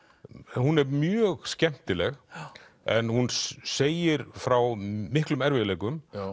hún er mjög skemmtileg en hún segir frá miklum erfiðleikum